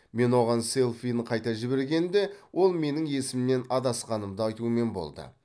мен оған селфиін қайта жібергенімде ол менің есімнен адасқанымды айтумен болды